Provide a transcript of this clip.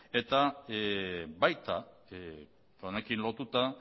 eta baita honekin lotuta